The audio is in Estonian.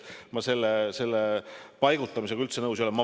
Ma sellise paigutamisega üldse nõus ei ole.